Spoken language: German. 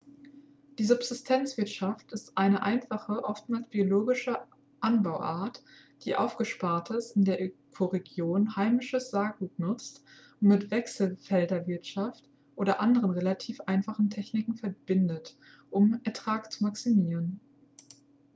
die subsistenzwirtschaft ist eine einfache oftmals biologische anbauart die aufgespartes in der ökoregion heimisches saatgut nutzt und mit wechselfelderwirtschaft oder anderen relativ einfachen techniken verbindet um den ertrag zu maximieren